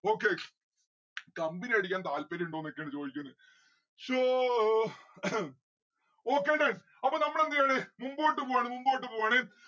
okay. company അടിക്കാൻ താല്പര്യം ഇണ്ടോന്നൊക്കെയാണ് ചോയ്ക്കണ് ശോ എഹെം okay done അപ്പോ നമ്മൾ എന്തെയാണ് മുമ്പോട്ട് പോവാണ്‌ മുമ്പോട്ട് പോവാണ്‌